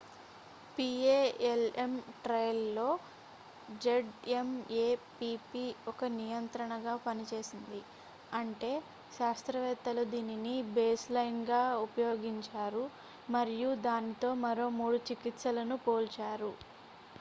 PALM ట్రయల్లో Z M A P P ఒక నియంత్రణగా పనిచేసింది అంటే శాస్త్రవేత్తలు దీనిని బేస్లైన్గా ఉపయోగించారు మరియు దానితో మరో 3 చికిత్సలను పోల్చారు